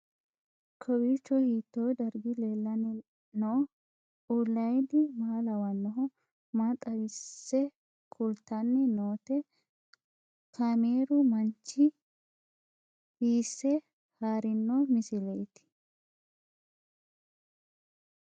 Kowiicho hiito dargi leellanni no ? ulayidi maa lawannoho ? maa xawisse kultanni noote ? kaameru manchi hiisse haarino misileeti?